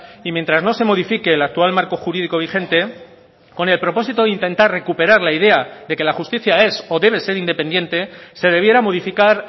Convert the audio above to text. y mientras no se modifique el actual marco jurídico vigente con el propósito de intentar recuperar la idea de que la justicia es o debe ser independiente se debiera modificar